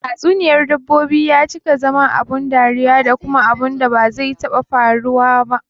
Tatsuniyar dabbobi ya cika zama abun dariya da kuma abunda ba zai taɓa faruwa ba